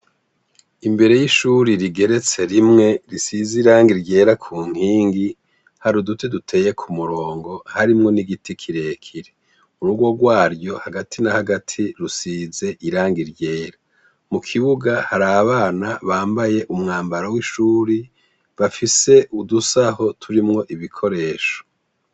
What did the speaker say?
Imbere y'ishure rigeretse rimwe risize irangi ryera ku nkingi, hari uduti duteye ku murongo harimwo n'igiti kirekire. Urugo rwaryo hagati na hagati rusize irangi ryera. Mu kibuga hari abana bambaye umwambaro w'ishure bafise udusaho turimwo ibikoresho.